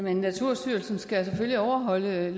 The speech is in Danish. at naturstyrelsen skal overholde den